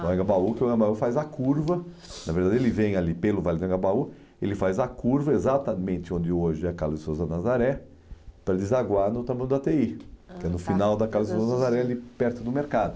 O Engabaú que o engabaú faz a curva, na verdade ele vem ali pelo Vale do Engabaú, ele faz a curva exatamente onde hoje é a Carlos de Souza Nazaré para desaguar no do á tê i, ah tá, que é no final da Carlos de Souza Nazaré, ali perto do mercado.